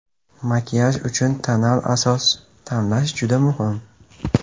Makiyaj uchun tonal asos tanlash juda muhim.